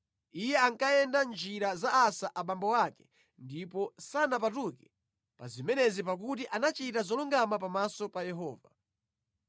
Iye ankayenda mʼnjira za Asa abambo ake ndipo sanapatuke pa zimenezi pakuti anachita zolungama pamaso pa Yehova.